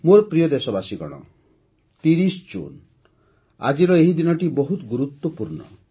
ମୋର ପ୍ରିୟ ଦେଶବାସୀଗଣ ୩୦ ଜୁନ୍ - ଆଜିର ଏହି ଦିନଟି ବହୁତ ଗୁରୁତ୍ୱପୂର୍ଣ୍ଣ